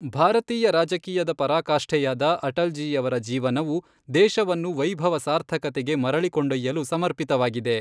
ಭಾರತೀಯ ರಾಜಕೀಯದ ಪರಾಕಾಷ್ಠೆಯಾದ ಅಟಲ್ ಜೀಯವರ ಜೀವನವು ದೇಶವನ್ನು ವೈಭವ ಸಾರ್ಥಕತೆಗೆ ಮರಳಿ ಕೊಂಡೊಯ್ಯಲು ಸಮರ್ಪಿತವಾಗಿದೆ.